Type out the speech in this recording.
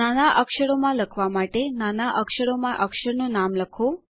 નાના અક્ષરો માં લખવા માટે નાના અક્ષરો માં અક્ષરનું નામ લખો